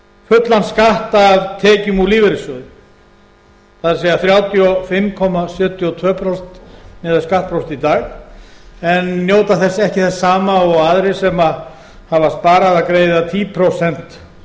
fullan skatt af tekjum úr lífeyrissjóði það er þrjátíu og fimm komma sjötíu og tvö prósent miðað við skattprósentu í dag en njóta ekki þess sama og aðrir sem hafa sparað að greiða tíu prósent